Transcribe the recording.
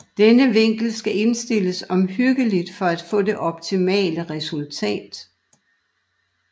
Denne vinkel skal indstilles omhyggeligt for at få det optimale resultat